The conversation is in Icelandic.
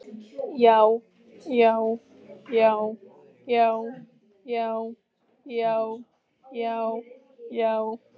JÁ, JÁ, JÁ, JÁ, JÁ, JÁ, JÁ, JÁ.